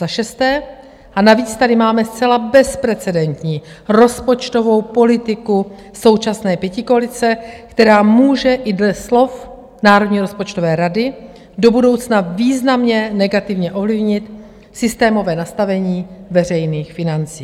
Za šesté, a navíc tady máme zcela bezprecedentní rozpočtovou politiku současné pětikoalice, která může i dle slov Národní rozpočtové rady do budoucna významně negativně ovlivnit systémové nastavení veřejných financí.